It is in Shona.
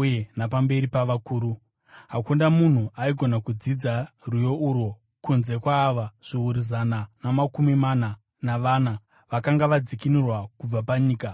uye napamberi pavakuru. Hakuna munhu aigona kudzidza rwiyo urwo kunze kwaava zviuru zana namakumi mana navana vakanga vadzikinurwa kubva panyika.